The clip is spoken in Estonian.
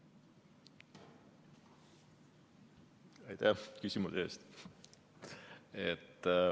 Aitäh küsimuse eest!